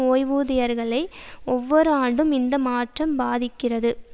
ஓய்வூதியர்களை ஒவ்வொரு ஆண்டும் இந்த மாற்றம் பாதிக்கிறது